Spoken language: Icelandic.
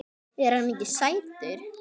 Er hann ekki sætur?